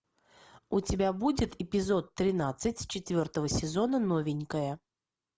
у тебя будет эпизод тринадцать четвертого сезона новенькая